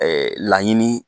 laɲini.